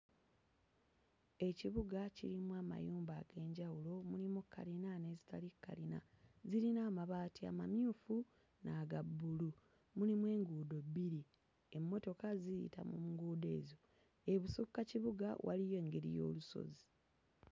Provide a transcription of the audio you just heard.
Ekibuga kirimu mayumba ag'enjawulo mulimu kkalina n'ezitali kkalina zirina amabaati amamyufu n'aga bbulu mulimu enguudo bbiri emmotoka ziyita mu nguudo ezo ebusukka kibuga waliyo engeri y'olusozi.